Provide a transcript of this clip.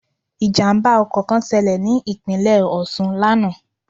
Ìjàmbá ọkọ̀ kan ṣẹlẹ̀ ní Ìpínlẹ̀ Òṣun lánàá